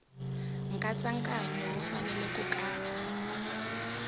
nkatsakanyo wu fanele ku katsa